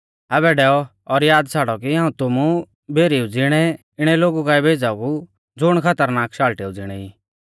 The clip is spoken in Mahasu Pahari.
आबै डैऔ और याद छ़ाड़ौ कि हाऊं तुमु भेरीऊ ज़िणै इणै लोगु काऐ भेज़ाऊ ज़ुण खतरनाक शाल़टेऊ ज़िणै ई